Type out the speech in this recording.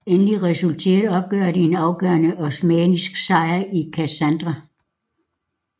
Endelig resulterede oprøret i en afgørende osmannisk sejr i Kassandra